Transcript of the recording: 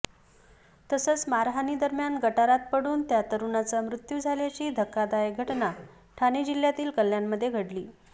तसंच मारहाणीदरम्यान गटारात पडून त्या तरुणाचा मृत्यू झाल्याची धक्कादायक घटना ठाणे जिल्ह्यातील कल्याणमध्ये घडली